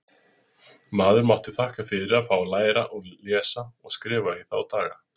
Maður mátti þakka fyrir að fá að læra að lesa og skrifa í þá daga.